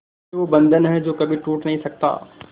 ये वो बंधन है जो कभी टूट नही सकता